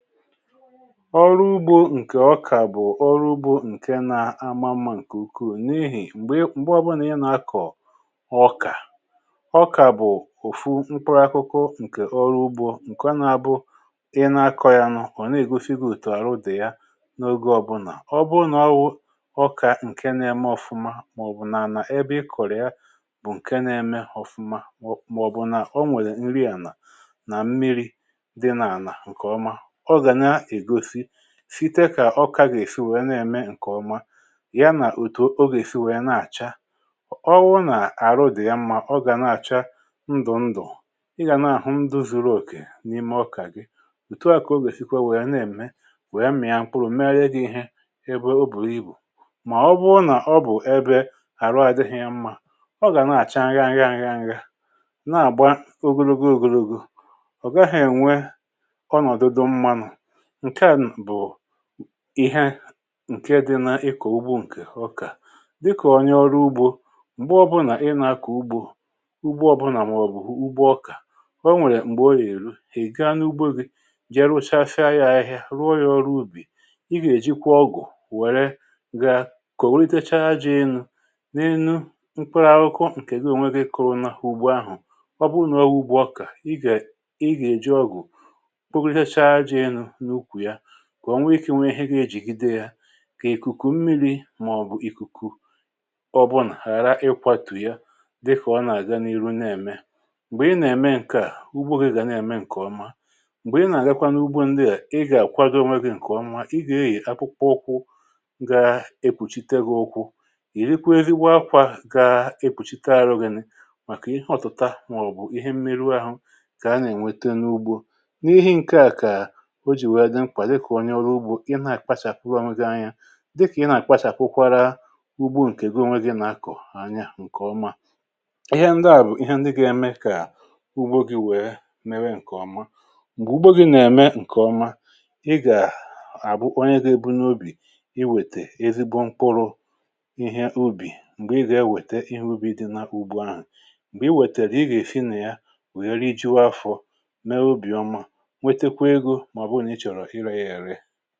Ọrụ ugbȯ ǹkè ọkà bụ̀ ọrụ ugbȯ ǹke nȧ-ama mmȧ ǹkè ukwuù, n’ihì m̀gbè ǹgbe ọbụnà ị nà-akọ̀ ọkà. Ọkà bụ̀ òfu mkpuru akụkụ ǹkè ọrụ ugbȯ, ǹkè ọ nà-abụ ị na-akọ̇ yanụ̇, ọ̀ na-ègosigȯ òtù àrụ dị̀ ya n’oge ọbụnà. Ọ bụrụ nà ọ wụ ọkà ǹke na-eme ọ̀fụma, mà ọ̀ bụ̀ nà a nà-ebe i kọ̀rọ̀ ya bụ̀ ǹke na-eme ọ̀fụma, mà ọ̀ bụ̀ nà o nwèrè nri ànà nà mmiri dị nà-àna ǹkè ọma, ọ ga na egọsị efite kà ọkagà èsi wèe na-ème ǹkèọma, ya nà òtù ogè èsi wèe na-àcha. ọwụ nà-àrụ dị̀ ya mmȧ ọgà na-àcha ndụ̀ ndụ̀, ịgà nà-àhụ ndụ̇ zuruòkè n’ime ọkà gị. òtù a kà ogè èsikwa wèe na-ème wèe mmị̇ȧ mkpụrụ̀ mere dị̇ ihe ebe ụbù ibù. Mà ọbụrụ nà ọ bụ̀ ebė àrụ adịghị̇ ya mmȧ, ọgà na-àcha ngahịa ngahịa ngahịa ngahịa, na-àgba ogologo ogologo, ọ̀gaghị̇ ènwe ọnọdụ dị mma, nke a bụ ihe ǹke dị na ịkọ̀ ugbo ǹkè ọkà. dịkà ònyè ọrụ ugbȯ, m̀gbè ọbụnà màọbụ̀ ugbo ọkà, o nwèrè m̀gbè o yèrụ èga n’ugbo gị̇ jie rụcha fee ahịhịa, rụọ yȧ ọrụ ubì. ị gà-èjikwa ọgụ̀ wère gȧ kọ̀rụatachaa jị ịnụ n’enu mkpụrụ ahụkwọ ǹkè ga ònweghi kụrụ nà hụ̀ ugbo ahụ̀, ọ bụrụ nà ọ wụ ugbo ọkà, ị gà ị gà-èji ọgụ̀ kpọkọtacha aja enụ na ụkwụ ya, kwà o nwee ikė nwee ihe gị̇ ejìgide yȧ, kà ìkùkù mmiri̇ màọ̀bụ̀ ìkùkù ọ bụ̀ nà ghàra ịkwȧtù ya dịkà ọ nà-àga niihu nà-ème. m̀gbè ị nà-ème ǹke à ugbo ghị̇ gà nà-ème ǹkè ọma. m̀gbè ị nà-àga n’ugbȯ ndịà, ị gà-àkwago onwe gị̇ ǹkè ọma, ị gà-eyì apụkpọ ụkwụ ga-ekpùchi igbu̇kwȧ òkwu, ìri kwu eri gba akwà ga-ekpùchi taa àrụ̇ gị̇ nị, màkà ihe ọtụ̀ta màọ̀bụ̀ ihe mmeru ahụ kà a nà-ènwete n’ugbȯ. N’ihi ǹke a kà ọjị wèè dị mkpa dịka ọnye ọrụ ụgbọ ịna akpachapụ ọnwe gi anya, dịkà ị nà-àkpachàkwụkwara ugbo ǹkè ego nwe di ànyà ǹkè ọma. ịhẹ ndị à bụ̀ ịhẹ ndị ga-eme kà ugbo gị̇ wèe mee ǹkè ọma. mgbe ùgbògị nà-ème ǹkè ọma, ị gà -àbụ onye gà-èbụ n’obì iwètè ezigbo mkpụrụ ihe ubì, m̀gbè ị gà-ewète ihe ubi̇ dị na-ugbo ahụ̀, m̀gbè iwètèrè ị gà-èfina ya wèrè iji̇ afọ̇ mee obì ọma, nwetekwa egọ maọbụ na ịchọrọ i re ihe ere.